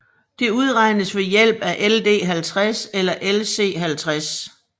Det udregnes ved hjælp af LD50 eller LC50